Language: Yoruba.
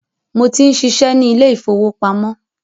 Mo tí ń ṣiṣẹ́ ni ilé ìfowópamọ́